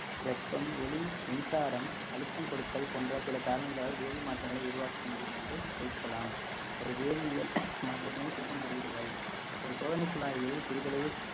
வெப்பம் ஒளி மின்சாரம் அழுத்தம் கொடுத்தல் போன்ற சில காரணிகளால் வேதி மாற்றங்களை உருவாக்க முடியும் என்று தொகுக்கலாம் ஒரு வேதியியல் மாற்றத்தினை சுற்றும் குறியீடுகள் ஒரு சோதனை குழாயில் சிறிதளவு